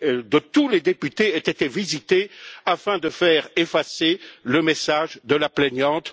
de tous les députés aient été visités afin de faire effacer le message de la plaignante.